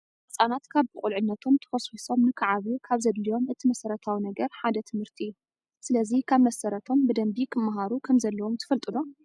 ህፃናት ካብ ብቁልዕነቶም ተኾስዂሶም ንክዓብዩ ካብ ዘድልዮም እቲ መሰረታዊ ነገር ሓደ ትምህርቲ እዩ። ስለዚ ካብ መሰረቶም ብደንቢ ክምሃሩ ከም ዘለዎም ትፈልጡ ዶ?